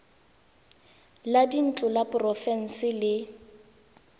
la dintlo la porofense le